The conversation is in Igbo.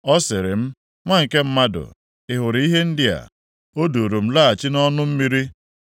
Ọ sịrị m, “Nwa nke mmadụ, ị hụrụ ihe ndị a?” O duuru m laghachi nʼọnụ mmiri.